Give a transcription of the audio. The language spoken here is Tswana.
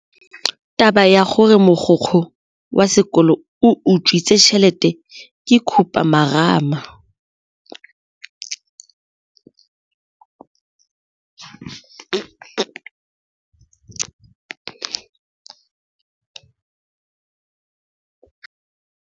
Taba ya gore mogokgo wa sekolo o utswitse tšhelete ke khupamarama.